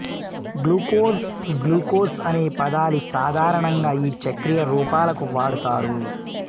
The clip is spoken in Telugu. గ్లూకోజ్ గ్లూకోజ్ అనే పదాలు సాధారణంగా ఈ చక్రీయ రూపాలకు వాడుతారు